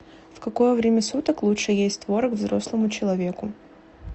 в какое время суток лучше есть творог взрослому человеку